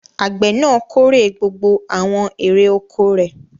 Àgbẹ̀ náà kórè gbogbo àwọn èrè-oko rẹ̀.